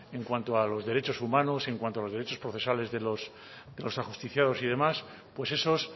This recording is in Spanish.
en cuanto a los derechos humanos en cuanto a los derechos procesales de los ajusticiados y demás pues esos